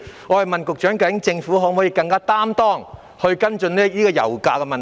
我問局長，究竟政府可否更有承擔地跟進油價的問題？